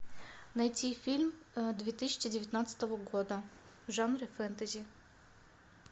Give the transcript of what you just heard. найти фильм две тысячи девятнадцатого года в жанре фэнтези